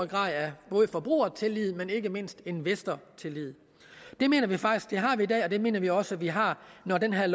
grad af både forbrugertillid og ikke mindst investortillid det mener vi faktisk vi har i dag og det mener vi også vi har når det her